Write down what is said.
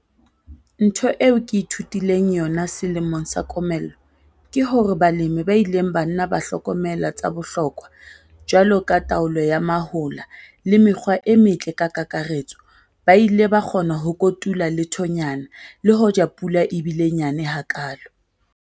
Ntho eo ke ithutileng yona selemong sa komello ke hore balemi ba ileng ba nna ba hlokomela tsa bohlokwa jwalo ka taolo ya mahola le mekgwa e metle ka kakaretso ba ile ba kgona ho kotula lethonyana le hoja pula e bile nyane hakaalo.